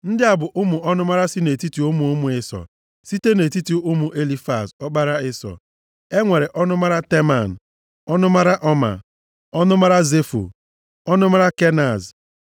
Ndị a bụ ọnụmara si nʼetiti ụmụ ụmụ Ịsọ. Site nʼetiti ụmụ Elifaz, ọkpara Ịsọ, e nwere Ọnụmara Teman, ọnụmara Ọmaa, ọnụmara Zefo, ọnụmara Kenaz.